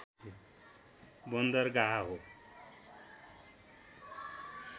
बन्दरगाह हो